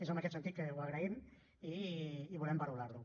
és en aquest sentit que ho agraïm i volem valorar ho